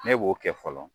Ne b'o kɛ fɔlɔ